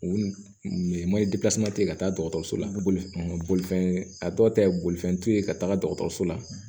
U ye ka taa dɔgɔtɔrɔso la n bɛ boli bolifɛn a dɔw ta ye bolifɛn t'u ye ka taga dɔgɔtɔrɔso la